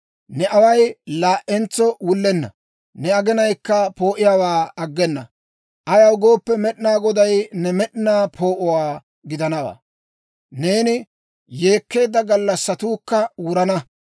Ne away laa"entso wullenna; ne aginayikka poo'iyaawaa aggena. Ayaw gooppe, Med'inaa Goday new med'inaa poo'o gidanawaa; neeni yeekkeedda gallassatuukka wurana.